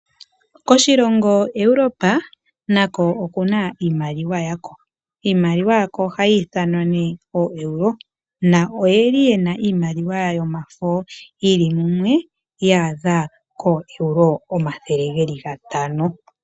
Koshilongo Europe nako oku na iimaliwa yako. Iimaliwa yako ohayi ithanwa nee oo Euro, na iloye li ye na iimaliwa yomafo yi li mumwe ya adha kooEuro omathele ge li gatano.